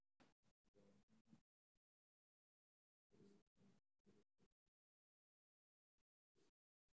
Waxa kale oo muhiim ah in meesha laga saaro cudur kale oo loo yaqaan amyloidosis.